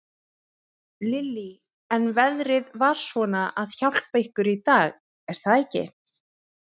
Lillý: En veðrið var svona að hjálpa ykkur í dag, er það ekki?